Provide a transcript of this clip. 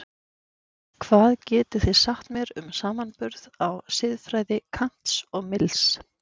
Hvað getið þið sagt mér um samanburð á siðfræði Kants og Mills?